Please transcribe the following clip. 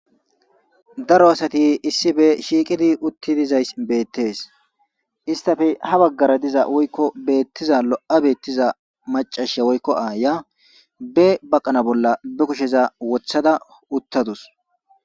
Daro asati isipe shiqidi utidizayis betes isitape habagara diza woyiko betiza lo'a betiza macasy woyiko be baqala bolla bakusheza wothada utadus